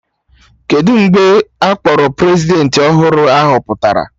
Kedụ mgbe a kpọrọ Prezidentị ọhụrụ a họpụtara?